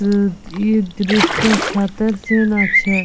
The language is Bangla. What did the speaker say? উম ই দৃশটা ছাতের সিন আছে।